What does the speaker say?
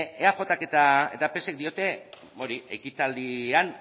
eajk eta psek diote hori ekitaldian